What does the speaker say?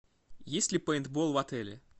есть ли пейнтбол в отеле